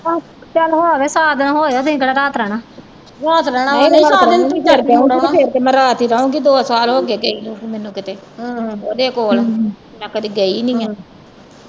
ਚਲ ਹੋ ਆਉਣੇ ਸਾ ਦਿਨ ਹੋ ਆਇਆ ਤੁਹੀਂ ਕਿਹੜਾ ਰਾਤ ਰਹਿਣਾ ਫਿਰ ਤੇ ਮੈ ਰਾਤ ਈ ਰਹੂਗੀ ਦੋ ਸਾਲ ਹੋ ਗਏ ਗਈ ਨੂੰ ਮੈਨੂੰ ਕਿਤੇ ਉਹਦੇ ਕੋਲ ਮੈ ਕਦੀ ਗਈ ਨਹੀਂ ਆ।